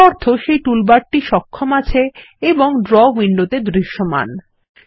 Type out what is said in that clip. এর অর্থ সেই টুলবারটি সক্ষম আছে এবং ড্র উইন্ডোতে দৃশ্যমান